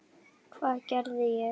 Hvað geri ég?